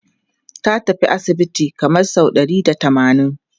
Ta tafi asibiti kamar sau ɗari da tamanin.